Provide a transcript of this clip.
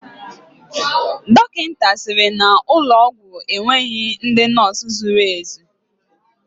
Dọkịta sịrị na ụlọ ọgwụ a enweghị ndị nọọsụ zuru ezu.